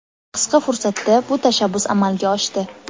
Qisqa fursatda bu tashabbus amalga oshdi.